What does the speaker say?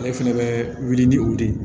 Ale fɛnɛ bɛ wuli ni o de ye